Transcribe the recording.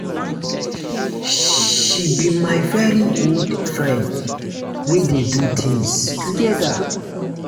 she be my very good friend we dey do things together.